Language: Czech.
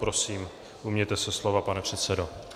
Prosím, ujměte se slova, pane předsedo.